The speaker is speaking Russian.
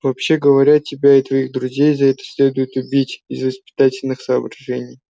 вообще говоря тебя и твоих друзей за это следует убить из воспитательных соображений